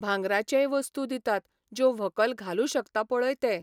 भांगराचेय वस्तू दितात ज्यो व्हंकल घालूं शकता पळय ते.